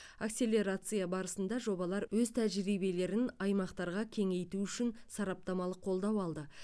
акселерация барысында жобалар өз тәжірибелерін аймақтарға кеңейту үшін сараптамалық қолдау алды